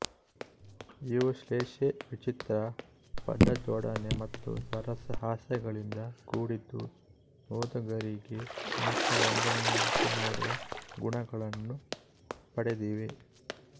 ಇವು ಶ್ಲೇಷೆ ವಿಚಿತ್ರ ಪದಜೋಡಣೆ ಮತ್ತು ಸರಸ ಹಾಸ್ಯಗಳಿಂದ ಕೂಡಿದ್ದು ಓದುಗರಿಗೆ ಹಾಸ್ಯರಂಜನೆಯನ್ನುಂಟುಮಾಡುವ ಗುಣಗಳನ್ನು ಪಡೆದಿವೆ